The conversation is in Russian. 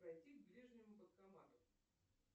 пройти к ближнему банкомату